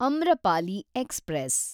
Amrapali express